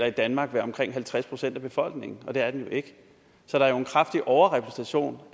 i danmark være omkring halvtreds procent af befolkningen og det er den jo ikke så der er jo en kraftig overrepræsentation